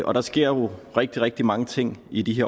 og der sker jo rigtig rigtig mange ting i de